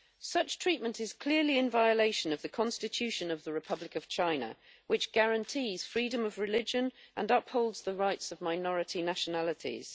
Such treatment is clearly in violation of the Constitution of the Republic of China, which guarantees freedom of religion and upholds the rights of minority nationalities.